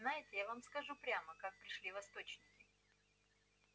знаете я вам скажу прямо как пришли восточники